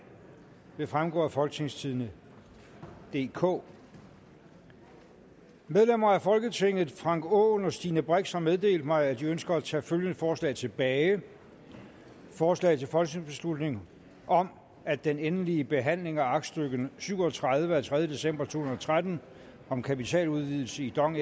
vil fremgå af folketingstidende DK medlemmer af folketinget frank aaen og stine brix har meddelt mig at de ønsker at tage følgende forslag tilbage forslag til folketingsbeslutning om at den endelige behandling af aktstykke syv og tredive af tredje december to tusind og tretten om kapitaludvidelse i dong